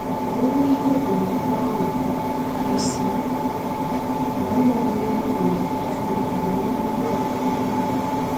Owuwe ihe ubi nenye ọṅụ—karịsịa mgbe mma owuwe ihe ubi na-efegharị nke ọma n'elu ihe ọkụkụ dị mma.